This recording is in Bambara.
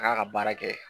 A k'a ka baara kɛ